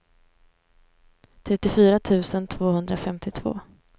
trettiofyra tusen tvåhundrafemtiotvå